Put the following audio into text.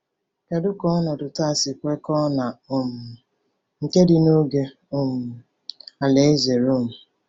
Kedu ka ọnọdụ taa si kwekọọ na um nke dị n’oge um alaeze Rom?